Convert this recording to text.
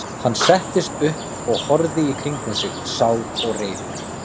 Hann settist upp og horfði í kringum sig, sár og reiður.